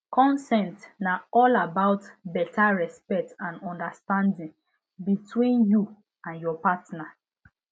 consent na all about better respect and understanding between you and ur partner